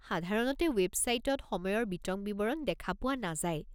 সাধাৰণতে ৱেবছাইটত সময়ৰ বিতং বিৱৰণ দেখা পোৱা নাযায়।